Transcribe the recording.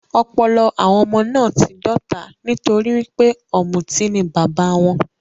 Ọpọlọ àwọn ọmọ náà ti dọ́ta nitori wípé ọmuti ni bàbá wọn.